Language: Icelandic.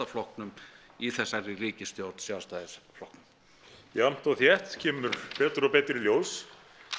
flokknum í þessari ríkisstjórn Sjálfstæðisflokknum jafnt og þétt kemur betur og betur í ljós